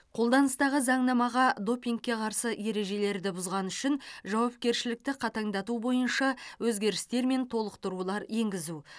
қолданыстағы заңнамаға допингке қарсы ережелерді бұзғаны үшін жауапкершілікті қатаңдату бойынша өзгерістер мен толықтырулар енгізу